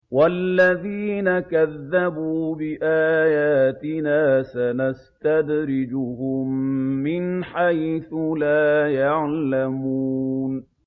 وَالَّذِينَ كَذَّبُوا بِآيَاتِنَا سَنَسْتَدْرِجُهُم مِّنْ حَيْثُ لَا يَعْلَمُونَ